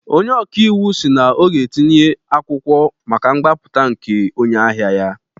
Onye ọkaiwu si na ọ ga-etinye akwụkwọ maka mgbapụta nke onye ahịa ya